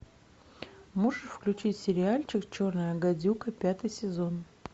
можешь включить сериальчик черная гадюка пятый сезон